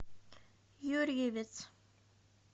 юрьевец